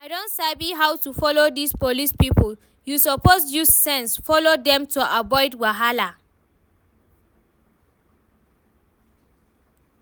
I don sabi how to follow dis police people, you suppose use sense follow dem to avoid wahala